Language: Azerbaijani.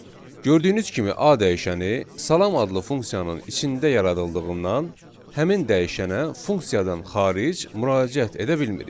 Gördüyünüz kimi, a dəyişəni salam adlı funksiyanın içində yaradıldığından həmin dəyişənə funksiyadan xaric müraciət edə bilmirik.